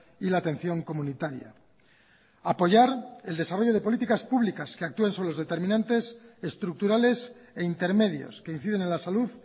y la atención comunitaria apoyar el desarrollo de políticas públicas que actúen sobre determinantes estructurales e intermedios que inciden en la salud